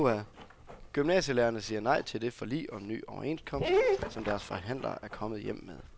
Gymnasielærerne siger nej til det forlig om ny overenskomst, som deres forhandlere er kommet hjem med.